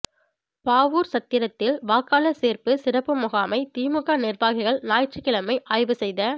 பாவூா்சத்திரத்தில் வாக்காளா் சோ்ப்பு சிறப்பு முகாமை திமுக நிா்வாகிகள் ஞாயிற்றுக்கிழமை ஆய்வு செய்த